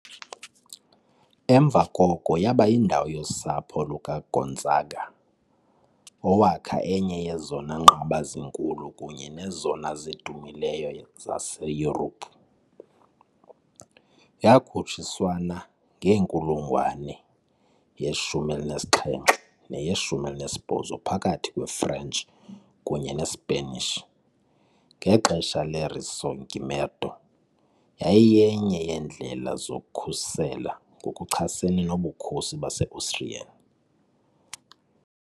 Emva koko yaba yindawo yosapho lukaGonzaga, owakha enye yezona nqaba zikhulu kunye nezona zidumileyo zaseYurophu. Yakhutshiswana ngenkulungwane ye-17 neye -18 phakathi kwe-French kunye ne-Spanish, ngexesha le- Risorgimento yayiyenye yeendlela zokukhusela ngokuchasene noBukhosi base-Austrian .